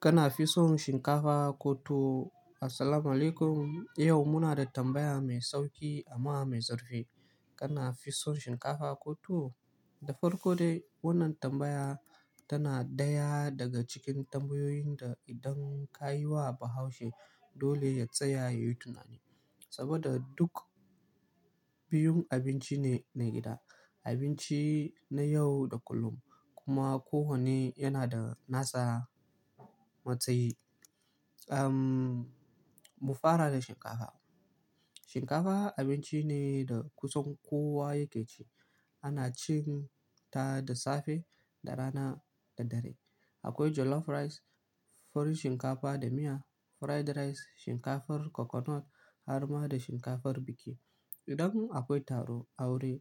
Kana fison shinkafa ko tuwo? Assalamualaikum. Yau muna da tambaya mai sauƙi amma mai zurfi. Kana fison shinkafa ko tuwo? Da farko dai wannan tambaya tana ɗaya daga cikin tambayoyin da idan ka yi wa Bahaushe dole ya tsaya ya yi tunani. Saboda duk biyun abinci ne na gida, abinci na yau da kullum kuma kowanne yana da nasa matsayi. Ughm, mu fara da shinkafa. Shinkafa abinci ne da kusan kowa yake ci. Ana cin ta da safe, da rana da dare. Akwai jollof rice, farin shinkafa da miya, fried rice, shinkafar coconut, har ma da shinkafar biki. Idan akwai taro, aure,